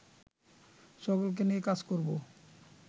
সকলকে নিয়ে কাজ করবো